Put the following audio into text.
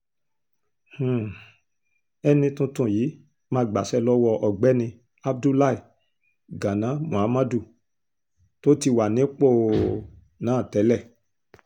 um ẹni tuntun yìí máa gbaṣẹ́ lọ́wọ́ ọ̀gbẹ́ni abdullahi gánà muhammadu tó ti wà nípò um náà tẹ́lẹ̀